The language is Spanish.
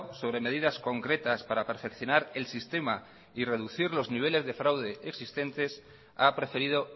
sobre medidas concretas para perfeccionar el sistema y reducir los niveles de fraudes existentes a preferido